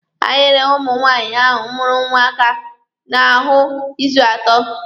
A hịrị nwaanyị ahụ mụrụ nwa aka n'ahụ izu atọ.